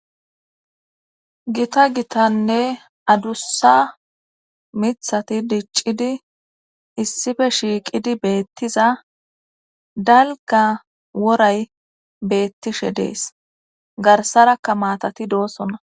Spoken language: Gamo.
Gita gitanne adussa mithati diccidi issife shiiqidi beettiza dalga woray beettishe dees garsarakka maatati doosona.